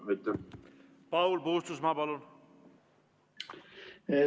Paul Puustusmaa, palun!